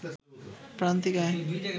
প্রান্তিক আয়